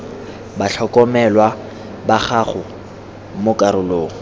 batlhokomelwa ba gago mo karolong